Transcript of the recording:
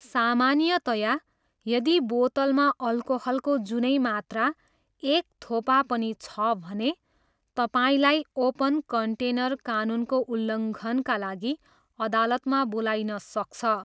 सामान्यतया, यदि बोतलमा अल्कोहलको जुनै मात्रा, एक थोपा पनि छ भने, तपाईँलाई ओपन कन्टेनर कानुनको उल्लङ्घनका लागि अदालतमा बोलाइन सक्छ।